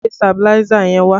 Gbe sabiláísà yẹn wá!